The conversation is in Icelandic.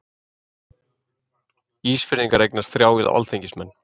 Ísfirðingar eignast þrjá alþingismenn.